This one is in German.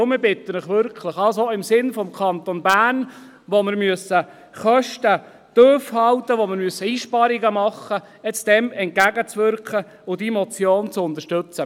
Deshalb bitte ich Sie wirklich, dem im Sinne des Kantons Bern, wo wir Kosten tiefhalten und einsparen müssen, entgegenzuwirken und diese Motion zu unterstützen.